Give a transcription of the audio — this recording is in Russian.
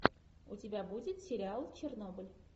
у тебя будет сериал чернобыль